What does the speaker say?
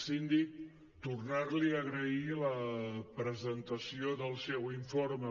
síndic tornar li a agrair la presentació del seu informe